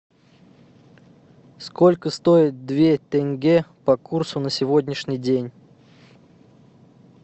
сколько стоит две тенге по курсу на сегодняшний день